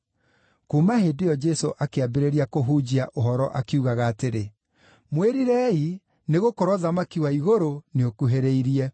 Kuuma hĩndĩ ĩyo Jesũ akĩambĩrĩria kũhunjia ũhoro akiugaga atĩrĩ, “Mwĩrirei, nĩgũkorwo ũthamaki wa igũrũ nĩũkuhĩrĩirie.”